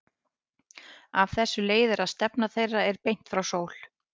Af þessu leiðir að stefna þeirra er beint frá sól.